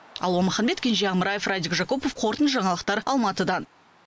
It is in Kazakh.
алуа маханбет кенже амраев радик жакупов қорытынды жаңалықтар алматыдан